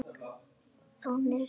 Þannig vinnum við úr málunum